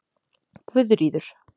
Guðríður